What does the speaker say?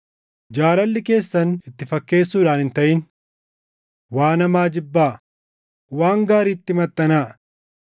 Jaalalli keessan itti fakkeessuudhaan hin taʼin. Waan hamaa jibbaa; waan gaariitti maxxanaa.